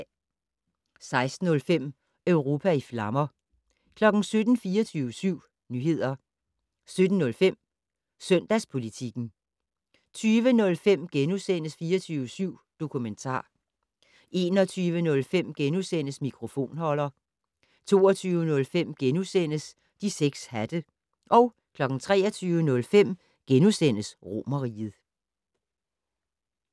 16:05: Europa i flammer 17:00: 24syv Nyheder 17:05: Søndagspolitikken 20:05: 24syv Dokumentar * 21:05: Mikrofonholder * 22:05: De 6 Hatte * 23:05: Romerriget *